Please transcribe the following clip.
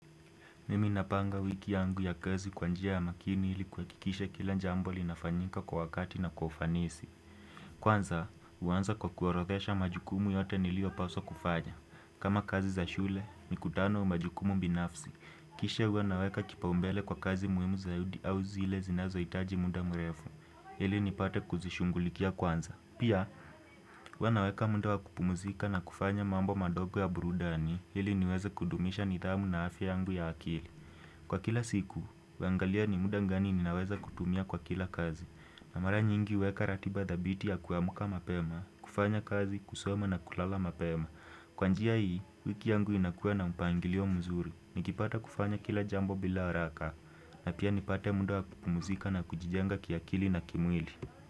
Mimi napanga wiki yangu ya kazi kwa njia ya makini ili kuhakikisha kila jambo linafanyika kwa wakati na kwa ufanisi. Kwanza, huanza kwa kuorodhesha majukumu yote niliopaswa kufanya. Kama kazi za shule, mikutano, majukumu binafsi. Kisha huwa naweka kipaumbele kwa kazi muhimu zaidi au zile zinazohitaji muda mrefu. Ili nipate kuzishughulikia kwanza. Pia, huwa naweka muda wa kupumuzika na kufanya mambo madogo ya burudani ili niweze kudumisha nidhamu na afya yangu ya akili. Kwa kila siku, huangalia ni muda gani ninaweza kutumia kwa kila kazi. Na mara nyingi huweka ratiba dhabiti ya kuamka mapema, kufanya kazi, kusoma na kulala mapema. Kwa njia hii, wiki yangu inakuwa na mpangilio mzuri. Nikipata kufanya kila jambo bila haraka na pia nipate muda wa kupumzika na kujijenga kiakili na kimwili.